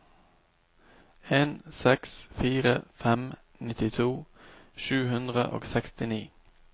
en seks fire fem nittito sju hundre og sekstini